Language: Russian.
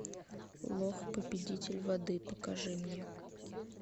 лох победитель воды покажи мне